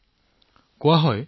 আমাৰ ইয়াত কোৱা হয়